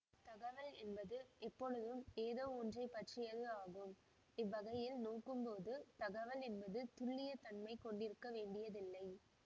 தகவல் என்பது எப்பொழுதும் ஏதோ ஒன்றை பற்றியது ஆகும் இவ்வகையில் நோக்கும்போது தகவல் என்பது துல்லிய தன்மை கொண்டிருக்க வேண்டியதில்லை